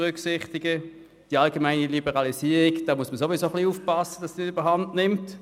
Beim Trend zur Liberalisierung muss man sowieso aufpassen, dass sie nicht überhand nimmt.